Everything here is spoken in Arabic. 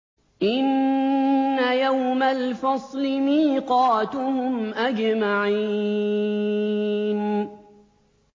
إِنَّ يَوْمَ الْفَصْلِ مِيقَاتُهُمْ أَجْمَعِينَ